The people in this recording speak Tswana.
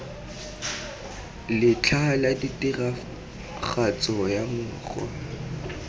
letlha la tiragatso ya mokgwa